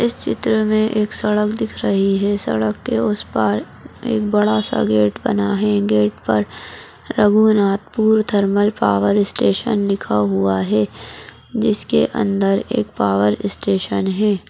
इस चित्र में एक सड़क दिख रही है सड़क के उस पार एक बड़ा सा गेट बना है गेट पर रघुनाथपुर थर्मल पावर स्टेशन लिखा हुआ है जिसके अंदर एक पावर स्टेशन है।